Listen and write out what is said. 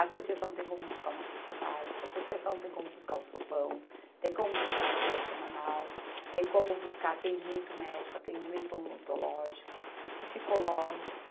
A associação tem como buscar uma cesta básica, a associação tem como buscar o sopão, tem como buscar a feira semanal, tem como buscar atendimento médico, atendimento odontológico, psicológico,